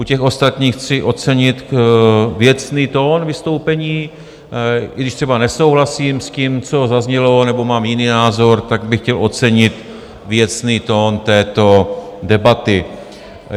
U těch ostatních chci ocenit věcný tón vystoupení, i když třeba nesouhlasím s tím, co zaznělo, nebo mám jiný názor, tak bych chtěl ocenit věcný tón této debaty.